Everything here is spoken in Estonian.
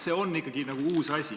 See on ikkagi uus asi.